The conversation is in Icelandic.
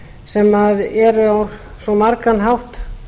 sem eru á svo margan hátt